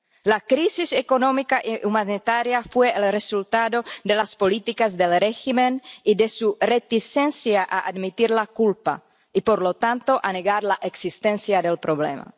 La crisis económica y humanitaria ha sido el resultado de las políticas del régimen y de su reticencia a admitir la culpa y, por lo tanto, a negar la existencia del problema.